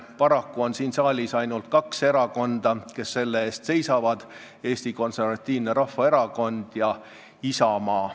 Paraku on siin saalis ainult kaks erakonda, kes selle eest seisavad: Eesti Konservatiivne Rahvaerakond ja Isamaa.